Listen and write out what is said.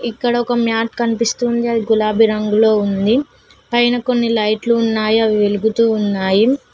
ఇక్కడ ఒక మ్యాట్ కనిపిస్తుంది అది గులాబీ రంగులో ఉంది పైన కొన్ని లైట్లు ఉన్నాయి అవి వెలుగుతూ ఉన్నాయి.